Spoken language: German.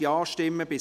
Ja / Oui Nein /